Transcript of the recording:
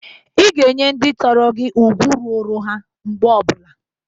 Ị ga-enye ndị toro gi ugwu ruturu ha mgbe ọ bụla.